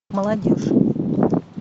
молодежь